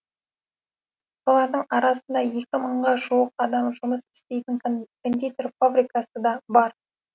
солардың арасында екі мыңға жуық адам жұмыс істейтін кондитер фабрикасы да бар